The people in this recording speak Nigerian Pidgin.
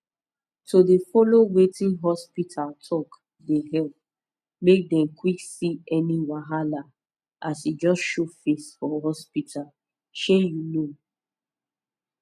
to dey follow wetin hospita talk dey epp make dem quck see any wahala as e just show face for hospita shey you know